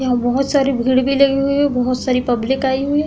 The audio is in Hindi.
यहाँ बोहोत सारी भीड़ भी लगी हुई है बोहोत सारी पब्लिक आयी हुई है।